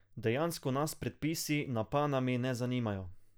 Dejansko nas predpisi na Panami ne zanimajo.